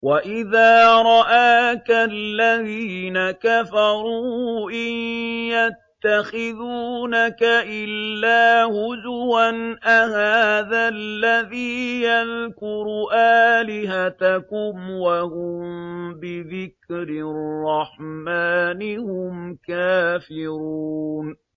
وَإِذَا رَآكَ الَّذِينَ كَفَرُوا إِن يَتَّخِذُونَكَ إِلَّا هُزُوًا أَهَٰذَا الَّذِي يَذْكُرُ آلِهَتَكُمْ وَهُم بِذِكْرِ الرَّحْمَٰنِ هُمْ كَافِرُونَ